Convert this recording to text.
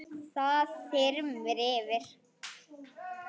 Það þyrmir yfir.